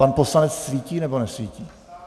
Pan poslanec svítí, nebo nesvítí?